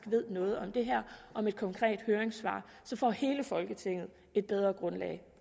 ved noget om det her om et konkret høringssvar så får hele folketinget et bedre grundlag